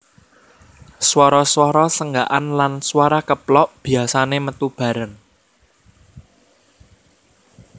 Swara swara senggakan lan swara keplok biasane metu bareng